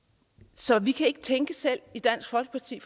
så vi kan ikke tænke selv i dansk folkeparti